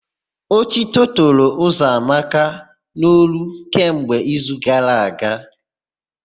Ótító toro Ụzọamaka n'olu kemgbe izu gara aga.